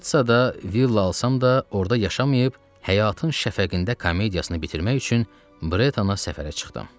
Nitsada villa alsam da, orda yaşamayıb, həyatın şəfəqində komediyasını bitirmək üçün Bretana səfərə çıxdım.